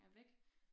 Er væk